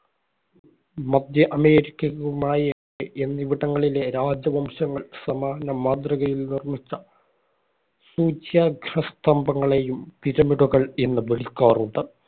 മധ്യ അമേരിക്കയിലെ മായ എന്നിവിടങ്ങളിലെ രാജവംശങ്ങൾ, സമാന മാതൃകയിൽ നിർമിച്ച സൂച്യാഗ്രസ്തംഭങ്ങളെയും pyramid കള്‍ എന്നു വിളിക്കാറുണ്ട്.